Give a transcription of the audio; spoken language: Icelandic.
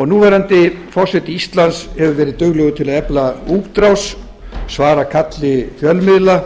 og núverandi forseti íslands hefur verið duglegur til að efla útrás svara kalli fjölmiðla